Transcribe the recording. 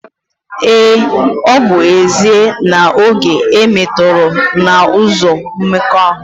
Ee, ọ bụ ezie na oge e metọrọ n’ụzọ mmekọahụ